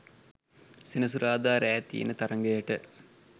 සෙනසුරාදා රෑ තියෙන තරඟයට